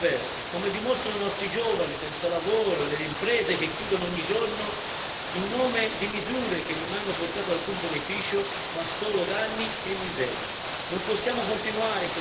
La realtà è, purtroppo, ben diversa, come dimostrano i nostri giovani senza lavoro e le imprese che chiudono ogni giorno in nome di misure che non hanno portato alcun beneficio, ma solo danni e miseria.